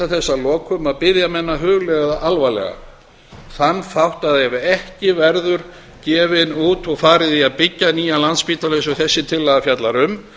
að lokum biðja menn að hugleiða alvarlega þann þátt að ef ekki verður tekin ákvörðun og farið í að byggja nýja landspítala eins og þessi tillaga fjallar um